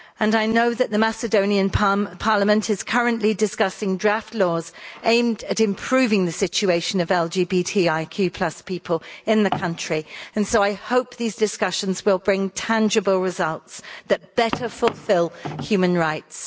I know that the Macedonian parliament is currently discussing draft laws aimed at improving the situation of LGBTIQ people in the country, and so I hope these discussions will bring tangible results that better fulfil human rights.